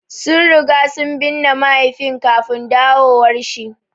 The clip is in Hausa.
Sun riga sun binne mahaifin kafin dawowar shi.